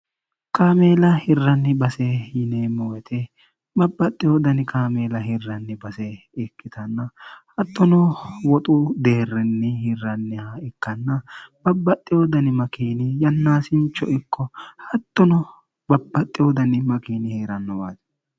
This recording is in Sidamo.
kaameela hirranni base yineemmo wete babbaxxe hodani kaameela hirranni base ikkitanna hattono woxu deerrinni hirranniha ikkanna babbaxxe hodani makiini yannaasincho ikko hattono babbaxxe hodani makiini hi'rannowaati